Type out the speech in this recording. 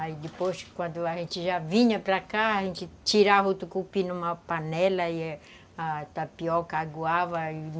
Aí depois, quando a gente já vinha para cá, a gente tirava o tucupi numa panela e a tapioca, aguava e